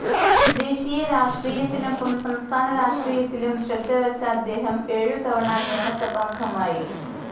ദേശീയ രാഷ്ട്രീയത്തിനൊപ്പം സംസ്ഥാനരാഷ്ട്രീയത്തിലും ശ്രദ്ധവച്ച അദ്ദേഹം ഏഴുതവണ നിയമസഭാംഗമായി.